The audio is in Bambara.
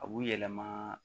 A b'u yɛlɛma